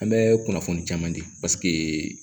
An bɛ kunnafoni caman di